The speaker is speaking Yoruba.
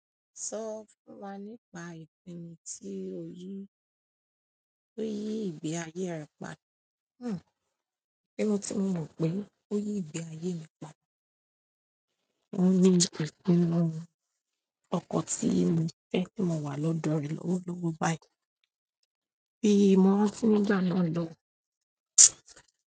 Sọ fún wa nípa ìpinnu tí o yí ìgbé ayé rẹ pa. Ípinu tí mo mọ pé ó yí ìgbé ayé mi pa, óuní ìpinnu ọkọ tí mo fẹ́ tí mo wà lọ́dọ̀ rẹ̀ olọ́wo báyìí. Bí mo rántí nìgbà náà lọun.